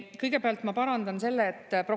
Kõigepealt ma parandan.